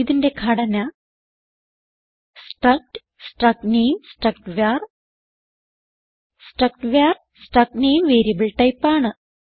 ഇതിന്റെ ഘടന struct struct name struct var struct var struct name variable type ആണ്